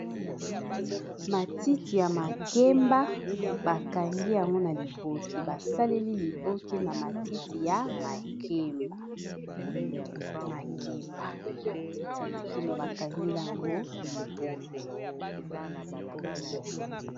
matitiya makemba bakangi yango na liboki basaleli liboki na matiti ya makebamatiti ya makemba bakangi yango liboki